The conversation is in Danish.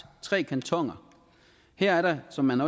tre kantoner her er der som man